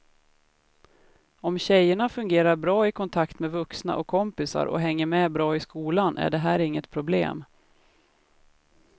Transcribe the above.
Om tjejerna fungerar bra i kontakt med vuxna och kompisar och hänger med bra i skolan är det här inget problem.